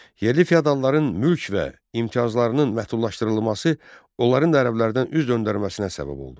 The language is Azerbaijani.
Yerli feodalların mülk və imtiyazlarının məhdudlaşdırılması onların da ərəblərdən üz döndərməsinə səbəb oldu.